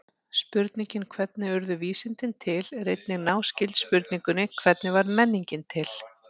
Spurningin hvernig urðu vísindi til er einnig náskyld spurningunni hvernig varð menningin til?